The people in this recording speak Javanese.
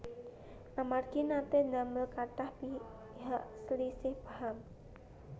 Amargi naté ndamel kathah pihak slisih paham